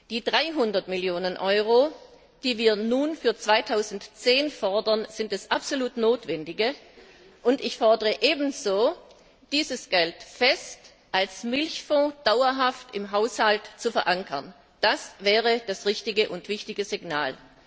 Die 300 Millionen Euro, die wir nun für 2010 fordern, sind das absolut Notwendige, und ich fordere, dieses Geld als Milchfonds dauerhaft im Haushalt zu verankern. Das wäre das richtige und wichtige Signal.